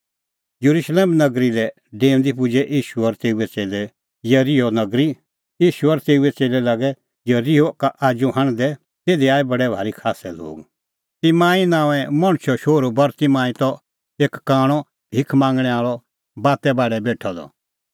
येरुशलेम नगरी लै डेऊंदी पुजै तिंयां येरिहो नगरी ईशू और तेऊए च़ेल्लै लागै येरिहो का आजू हांढदै तिधी आऐ बडै भारी खास्सै लोग तिमांई नांओंए मणछो शोहरू बरतिमांई त एक कांणअ भिख मांगणैं आल़अ बाते बाढै बेठअ द